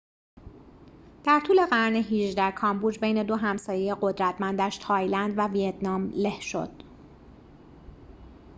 در طول قرن ۱۸ کامبوج بین دو همسایه قدرتمندش تایلند و ویتنام له شد